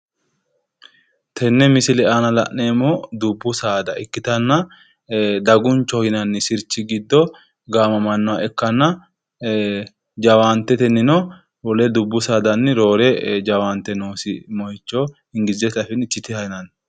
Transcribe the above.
Tenne misile aana la'neemmohu dubbu saada ikkitanna dagunchoho yinanni sirchi giddo gaamamannoha ikkanna jawaantetenni wole dubbu saadanni roore jawaante noosi moyicho ingilizete afiinni chitiha yinanni